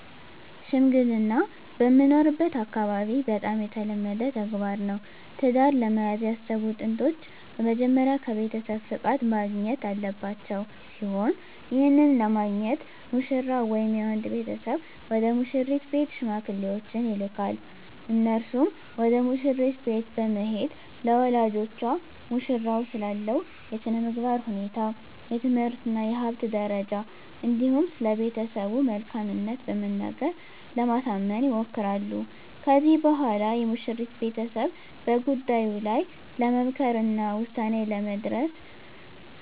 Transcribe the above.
ሽምግልና በምኖርበት አካባቢ በጣም የተለመደ ተግባር ነው። ትዳር ለመያዝ ያሰቡ ጥንዶች በመጀመሪያ ከቤተሰብ ፍቃድ ማግኘት ያለባቸው ሲሆን ይህንንም ለማግኘት ሙሽራው ወይም የወንድ ቤተሰብ ወደ ሙሽሪት ቤት ሽማግሌዎችን ይልካል። እነርሱም ወደ መሽሪት ቤት በመሄድ ለወላጆቿ ሙሽራው ስላለው የስነምግባር ሁኔታ፣ የትምህርት እና የሀብት ደረጃ እንዲሁም ስለቤተሰቡ መልካምት በመናገር ለማሳመን ይሞክራሉ። ከዚህም በኋላ የሙሽሪት ቤተሰብ በጉዳዩ ላይ ለመምከር እና ውሳኔ ላይ ለመድረስ